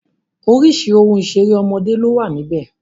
Orísìírísìí ohun ìṣeré ọmọdé ló wà níbẹ̀